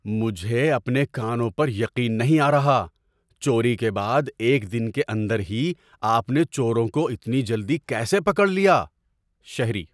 مجھے اپنے کانوں پر یقین نہیں آ رہا۔ چوری کے بعد ایک دن کے اندر ہی آپ نے چوروں کو اتنی جلدی کیسے پکڑ لیا؟ (شہری)